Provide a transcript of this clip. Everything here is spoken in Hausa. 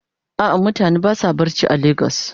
A'a mutane basa barci are lagos.